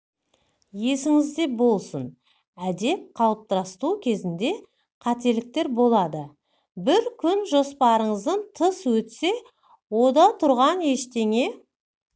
есіңізде болсын әдет қалыптастыру кезінде де қателіктер болады бір күн жоспарыңыздан тыс өтсе ода тұрған ештеңе